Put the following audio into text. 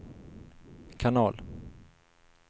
kanal